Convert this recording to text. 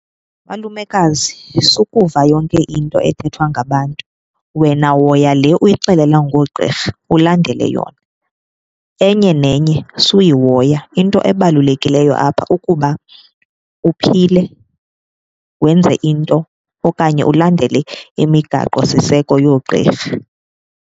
Malumekazi, sukuva yonke into ethethwa ngabantu wena hoya le uyixelelwa ngoogqirha ulandele yona, enye nenye suyihoya. Into ebalulekileyo apha ukuba uphile wenze into okanye ulandele imigaqosiseko yoogqirha.